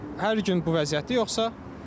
Hər gün bu vəziyyətdir yoxsa?